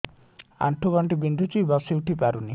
ଆଣ୍ଠୁ ଗଣ୍ଠି ବିନ୍ଧୁଛି ବସିଉଠି ପାରୁନି